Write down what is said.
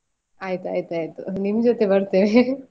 ಆಯ್ತಾಯ್ತು ನಿಮ್ ಜೊತೆ ಬರ್ತೇನೆ.